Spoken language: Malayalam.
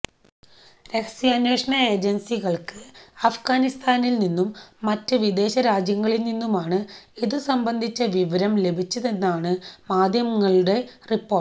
രഹസ്യാന്വേഷണ ഏജന്സികള്ക്ക് അഫ്ഗാനിസ്ഥാനില്നിന്നും മറ്റ് വിദേശരാജ്യങ്ങളില് നിന്നുമാണ് നിന്നുമാണ് ഇതുസംബന്ധിച്ച വിവരം ലഭിച്ചതെന്നാണ് മാധ്യമങ്ങളുടെ റിപ്പോര്ട്ട്